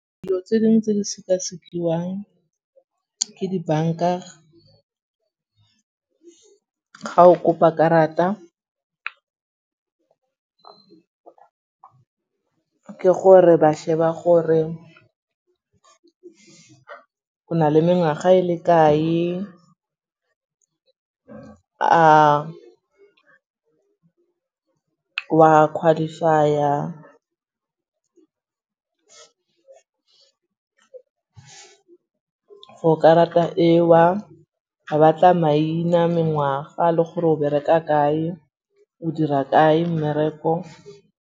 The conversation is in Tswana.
Dilo tse dingwe tse di sekasekiwang ke dibanka ga o kopa karata, ke gore ba sheba gore o na le mengwaga e le kae, a wa qualify-a for karata ewa. Ba batla maina, mengwaga le gore o bereka kae, o dira kae mmereko.